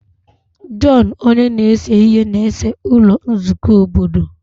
John onye na-ese ihe na-ese ụlọ nzukọ obodo.